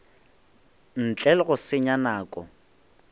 ntle le go senya nako